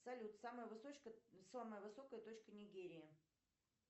салют самая высокая точка нигерии